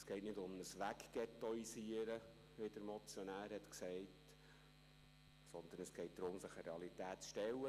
Es geht nicht um ein «weggettoisieren», wie der Motionär gesagt hat, sondern es geht darum, sich einer Realität zu stellen.